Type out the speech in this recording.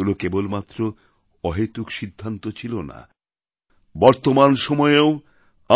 এগুলো কেবলমাত্র অহেতুক সিদ্ধান্ত ছিল না বর্তমান সময়েও